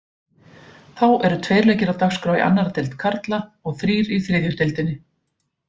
Þá eru tveir leikir á dagskrá í annarri deild karla og þrír í þriðju deildinni.